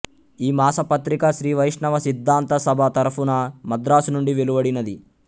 ఈ మాసపత్రిక శ్రీవైష్ణవ సిద్ధాంత సభ తరఫున మద్రాసు నుండి వెలువడినది